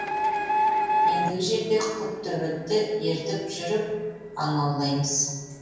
ендігі жерде құттөбетті ертіп жүріп аң аулаймыз